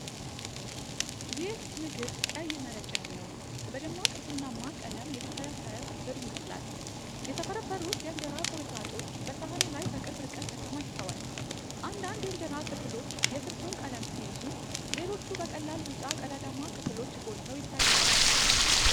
ይህ ምግብ ቀይ መረቅ ያለው፣ በደማቅ ቡናማ ቀለም የተፈረፈረ ፍርፍር ይመስላል። የተፈረፈሩት የእንጀራ ቁርጥራጮች በሳህኑ ላይ በቅርብ ርቀት ተከማችተዋል። አንዳንድ የእንጀራ ክፍሎች የስልሱን ቀለም ሲይዙ፣ ሌሎቹ በቀላል ቢጫ ቀዳዳማ ክፍሎች ጎልተው ይታያሉ።